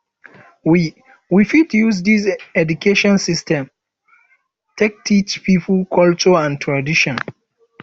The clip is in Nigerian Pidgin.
we we fit use di education system take teach pipo culture and tradition